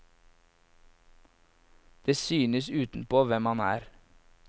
Det synes utenpå hvem man er.